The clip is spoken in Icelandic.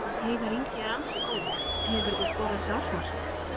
Heiðar Ingi er ansi góður Hefurðu skorað sjálfsmark?